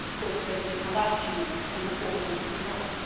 I am of course ready to come back to you and report on these results.